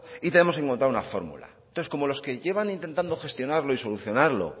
y tenemos que encontrar una fórmula entonces como los que llevan intentando gestionarlos y solucionarlo